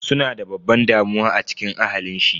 Suna da babban damuwa a cikin ahalin shi.